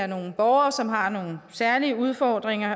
nogle borgere som har nogle særlige udfordringer